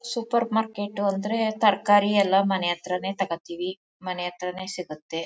Super market ಅಂದ್ರೆ ತರ್ಕಾರಿ ಎಲ್ಲಾ ಮನೆ ಹತ್ರನೇ ತಗೋತೀವಿ ಮನೆ ಹತ್ರನೇ ಸಿಗುತ್ತೆ.